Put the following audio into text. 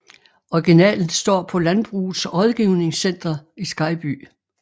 Originalen står på Landbrugets Rådgivningscenter i Skejby